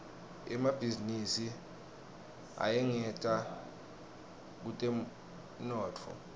emabhizinisi ayangeta kutemnotfo